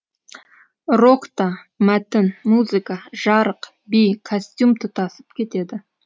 рокта мәтін музыка жарық би костюм тұтасып кетеді